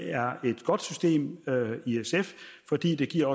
er et godt system fordi det giver